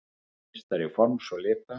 meistari forms og lita.